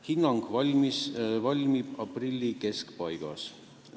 Hinnang valmib aprilli keskpaigas.